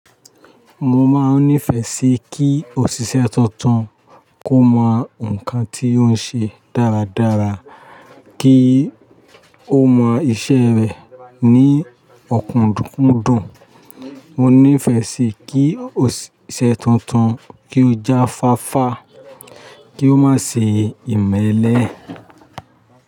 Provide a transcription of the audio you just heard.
Mo máa n nífẹ̀ẹ́ sí kí òṣìṣẹ́ tuntun kó mọ nǹkan tí ó ń ṣe dáradára, kí ó mọ iṣẹ́ rẹ̀ ní ọ̀kúndundun Mo nífẹ̀ẹ́ sì kí òṣìṣẹ́ tuntun kí ó já fáfá, kí ó má ṣe imẹ́lẹ́.